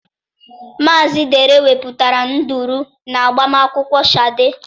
Mazị Dare wepụtara nduru na agbamakwụkwọ Shade.